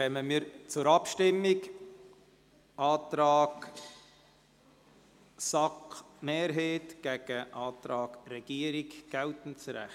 Wir kommen zur Abstimmung über den Antrag SAK-Mehrheit gegen den Antrag Regierungsrat – geltendes Recht.